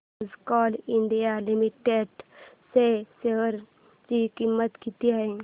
आज Coal India Limited च्या share ची किंमत किती आहे